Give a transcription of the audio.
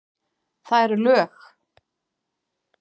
Það eru lög!